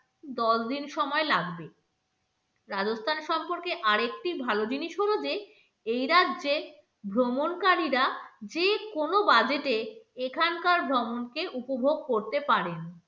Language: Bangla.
দশ দিন সময় লাগবে রাজস্থান সম্পর্কে আর একটি ভালো জিনিস হলো যে এই রাজ্যে ভ্রমণকারীরা যে কোন budget এ এখানকার ভ্রমণকে উপভোগ করতে পারেন